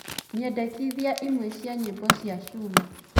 nyendekithiaĩmwe cĩa nyĩmbo cĩa cuma